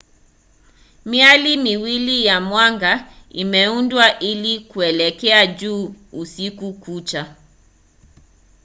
miali miwili ya mwanga imeundwa ili kuelekea juu usiku kucha